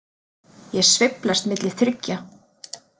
Ég sveiflast milli þriggja.